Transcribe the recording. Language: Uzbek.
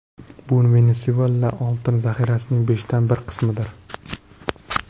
Bu Venesuela oltin zaxirasining beshdan bir qismidir.